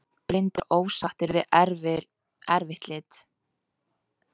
Blindir ósáttir við eftirlit